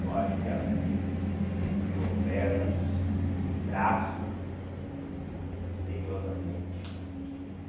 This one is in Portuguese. Eu acho que a fita criou pernas e braço e misteriosamente sumiu.